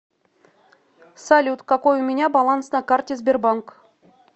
салют какой у меня баланс на карте сбербанк